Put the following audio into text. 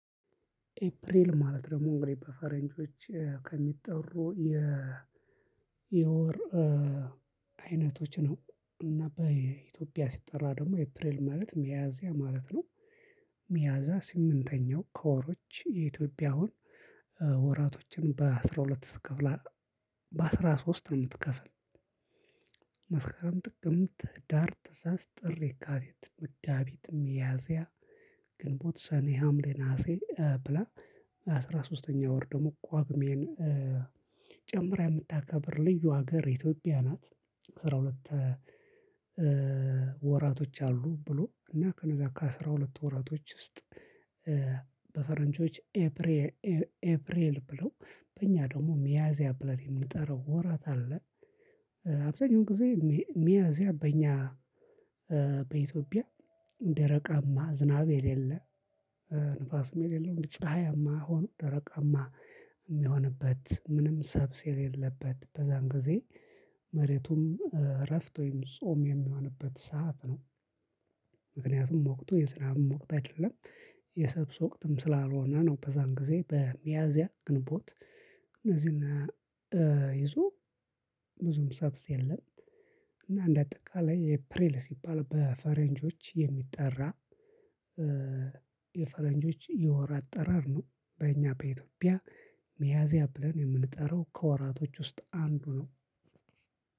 ኤፕሪል ማለት ደግሞ እንግዲህ በፈረንጆች ከሚጠሩ የ የወር አይነቶች ነው እና በኢትዮጵያ ሲጠራ ደግሞ ኤፕሪል ማለት ሚያዚያ ማለት ነው። ሚያዚያ ስምንተኛው ከወሮች የኢትዮጵያውን ወራቶችን በአስራ ሁለት ትከፍላለህ? በአስራ ሶስት ነው የምትከፍል። መስከረም ጥቅምት ህዳር ታህሳስ ጥሪ የካቲት መጋቢት ሚያዚያ ግንቦት ሰኔ ሀምሌ ነሀሴ ብላ አስራ ሶስተኛው ወር ደግሞ ጳግሜን ጨምራ የምታከብር ልዩ ሀገር ኢትዮጵያ ናት። አስራ ሁለት ወራቶች አሉ ብሎ እና ከእነዛ ከአስራ ሁለት ወራቶች ውስጥ በፈረንጆች ኤፕሬል ብለው በእኛ ደግሞ ሚያዚያ ብለን የምንጠራው ወራት አለ። አብዛኛውን ጊዜ ሚያዚያ በእኛ በኢትዮጵያ ደረቃማ ዝናብ የሌለ ንፋስም የሌለው ፀሀያማ ሆኖ ደረቃማ የሚሆንበት ምንም ሰብስ የሌለበት በዛን ጊዜ መሬቱም እረፍት ወይም ጾም የሚሆንበት ሰዓት ነው። ምክንያቱም ወቅቱ የዝናብም ሞቅቶ አይደለም። የሰብስ ወቅትም ስላልሆነ ነው በእዛን ጊዜ በሚያዚያ ግንቦት እነዚህን ይዞ ብዙም ሰብስ የለም። እና አንደ አጠቃላይ ኤፕሪል ሲባል በፈረንጆች የሚጠራ የፈረንጆች የወር አጠራር ነው። በእኛ በኢትዮጵያ ሚያዚያ ብለን የምንጠራው ከወራቶች ውስጥ አንዱ ነው።